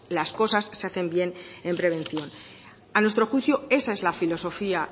las cosas se hacen bien en prevención a nuestro juicio esa es la filosofía